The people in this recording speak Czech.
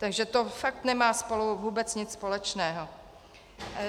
Takže to fakt nemá spolu vůbec nic společného.